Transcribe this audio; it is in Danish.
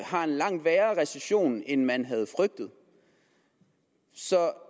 har en langt værre recession end man havde frygtet så